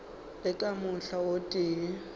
le ka mohla o tee